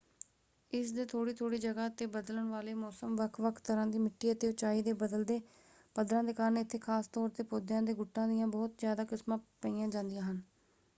ਇਸ ਦੇ ਥੋੜ੍ਹੀ ਥੋੜ੍ਹੀ ਜਗ੍ਹਾ ‘ਤੇ ਬਦਲਣ ਵਾਲੇ ਮੌਸਮ ਵੱਖ-ਵੱਖ ਤਰ੍ਹਾਂ ਦੀ ਮਿੱਟੀ ਅਤੇ ਉਚਾਈ ਦੇ ਬਦਲਦੇ ਪੱਧਰਾਂ ਦੇ ਕਾਰਨ ਇੱਥੇ ਖਾਸ ਤੌਰ ‘ਤੇ ਪੌਦਿਆਂ ਦੇ ਗੁੱਟਾਂ ਦੀਆਂ ਬਹੁਤ ਜ਼ਿਆਦਾ ਕਿਸਮਾਂ ਪਈਆਂ ਜਾਂਦੀਆਂ ਹਨ।